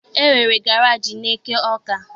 E nwere garaajị n'eke Ọka.